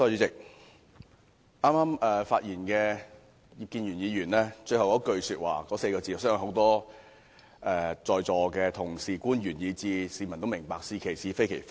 主席，剛才發言的葉建源議員在其演辭末段所說的話，我相信在座多位同事、官員以至市民皆明白，便是"是其是，非其非"。